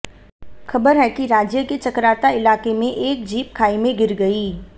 खबर है कि राज्य के चकराता इलाके में एक जीप खाई में गिर गई